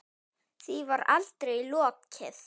Því var aldrei lokið.